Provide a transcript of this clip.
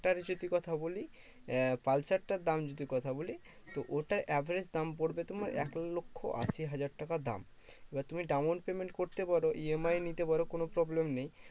টার যদি কথা বলি, আহ পালসারটার দাম যদি কথা বলি, তো ওটা average দাম পড়বে তোমার এক লক্ষ্য আশি হাজার টাকা দাম। এবার তুমি down payment করতে পারো, EMI নিতে পারো, কোনো problem নেই।